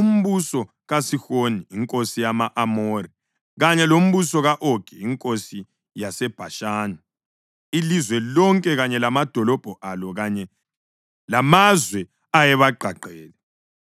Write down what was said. umbuso kaSihoni inkosi yama-Amori kanye lombuso ka-Ogi inkosi yaseBhashani, ilizwe lonke kanye lamadolobho alo kanye lamazwe ayebagqagqele.